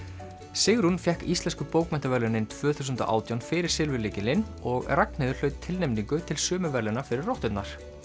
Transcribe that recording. Sigrún fékk Íslensku bókmenntaverðlaunin tvö þúsund og átján fyrir og Ragnheiður hlaut tilnefningu til sömu verðlauna fyrir rotturnar